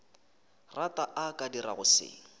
rata a ka dirago se